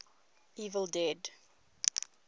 evil dead